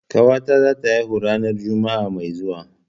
Ƙawata zata haihu ranar juma'a mai zuwa.